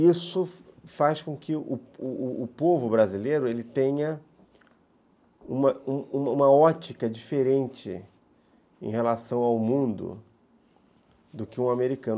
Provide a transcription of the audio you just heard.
Isso faz com que o o povo brasileiro tenha uma ótica diferente em relação ao mundo do que um americano.